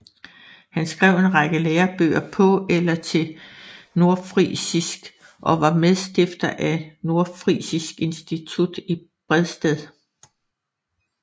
Han skrev en række lærebøger på eller til nordfrisisk og var medstifter af Nordfrisisk Institut i Bredsted